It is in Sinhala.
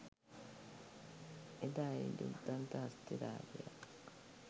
එදා ඒ ඡුද්දන්ත හස්ති රාජයා